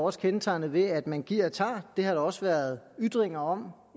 også kendetegnet ved at man giver og tager det har der også været ytringer om